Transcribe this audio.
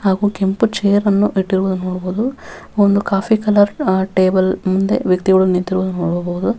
ಹಾಗು ಕೆಂಪು ಚೇರ್ ನ್ನು ಇಟ್ಟಿರುವುದನ್ನು ನೋಡಬಹುದು ಒಂದು ಕಾಫಿ ಕಲರ್ ಟೇಬಲ್ ನಿಂದ ನಿಂತ್ಕೊಂಡು ನಿಂತ್ಕೊಂಡು ನೋಡೋದು.